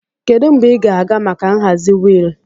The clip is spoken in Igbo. Kedu mgbe ị ga-aga maka nhazi wheel?